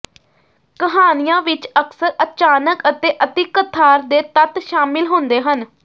ਕਹਾਣੀਆਂ ਵਿਚ ਅਕਸਰ ਅਚਾਨਕ ਅਤੇ ਅਤਿਕਥਾਰ ਦੇ ਤੱਤ ਸ਼ਾਮਿਲ ਹੁੰਦੇ ਹਨ